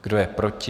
Kdo je proti?